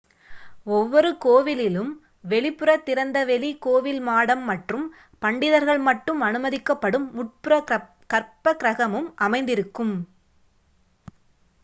ஓவ்வொரு கோவிலிலும் வெளிப்புற திறந்த வெளி கோவில் மாடம் மற்றும் பண்டிதர்கள் மட்டும் அனுமதிக்கப்படும் உட்புற கற்பகிரஹமும் அமைந்திருக்கும்